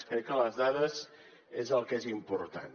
crec que les dades és el que és important